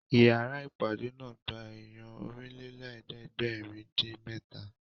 Ìyára ìpàdé náà gba èèyàn Ọ̀rìnlélẹ̀ẹ́dẹ́gbèrin-dín-mẹ́ta